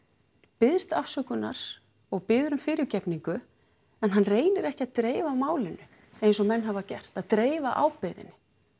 biðst afsökunnar og biður um fyrirgefningu en hann reynir ekki að dreifa málinu eins og menn hafa gert að reyna dreifa ábyrgðinni